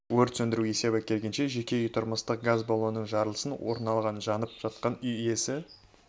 өрт сөндіру есебі келгенше жеке үйде тұрмыстық газ баллонның жарылысы орын алған жанып жатқан үй иесі